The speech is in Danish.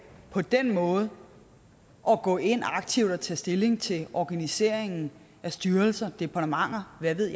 på den måde at gå ind aktivt og tage stilling til organiseringen af styrelser departementer og hvad ved